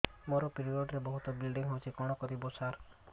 ମୋର ପିରିଅଡ଼ ରେ ବହୁତ ବ୍ଲିଡ଼ିଙ୍ଗ ହଉଚି କଣ କରିବୁ ସାର